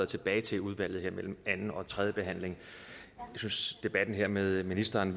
tilbage til udvalget her mellem anden og tredje behandling jeg synes debatten her med ministeren